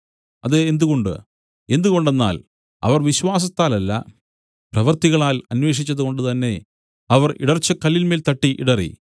അതെന്തുകൊണ്ട് എന്തുകൊണ്ടെന്നാൽ അവർ വിശ്വാസത്താലല്ല പ്രവൃത്തികളാൽ അന്വേഷിച്ചതുകൊണ്ടുതന്നെ അവർ ഇടർച്ചക്കല്ലിന്മേൽ തട്ടി ഇടറി